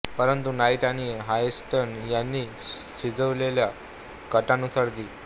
परंतु नाईट आणि हॉटसन यांनी शिजवलेल्या कटानुसार दि